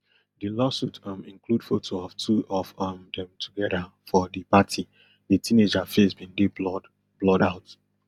di lawsuit um include photo of two of um dem together for di party di teenager face bin dey blurred blurred out